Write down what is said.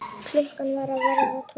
Klukkan var að verða tólf.